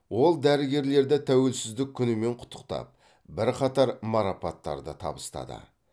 ол дәрігерлерді тәуелсіздік күнімен құттықтап бірқатар марапаттарды табыстады